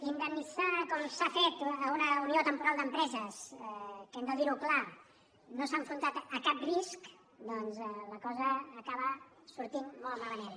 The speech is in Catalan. indemnitzant com s’ha fet una unió temporal d’empreses que hem de dir ho clar no s’ha enfrontat a cap risc doncs la cosa acaba sortint molt malament